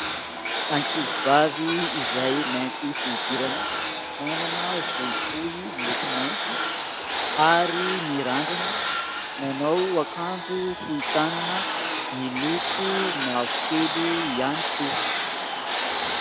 Ankizivavy izay mainty fihodirana, manana volo fohy miloko mainty, ary mirandrana, manao akanjo fohy tanana miloko mavokely ihany koa.